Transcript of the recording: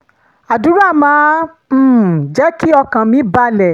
àdúrà máa um ń jẹ́ kí ọkàn mi balẹ̀